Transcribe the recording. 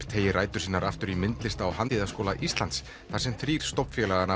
teygir rætur sínar aftur í myndlistar og handíðaskóla Íslands þar sem þrír